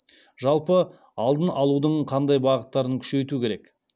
жалпы алдын алудың қандай бағыттарын күшейту керек